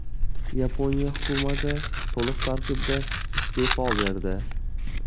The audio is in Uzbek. Yaponiya hukumati to‘liq tarkibda iste’fo berdi.